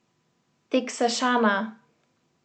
Teksašana!